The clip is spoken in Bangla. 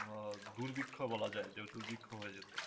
ও দুর্ভিক্ষ বলা যায় দুর্ভিক্ষ হয়ে যেতে